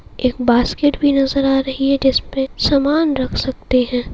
एक बास्केट भी नजर आ रही है जिस पे सामान रख सकते है।